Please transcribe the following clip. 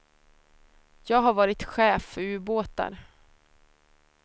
Jag har varit chef för ubåtar.